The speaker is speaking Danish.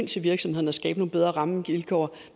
til virksomhederne og skabe nogle bedre rammevilkår